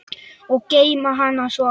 Og geyma hana svo.